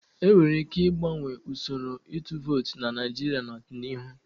E nwere ike ịgbanwe usoro ịtụ vootu na Naijiria n'ọdịnihu.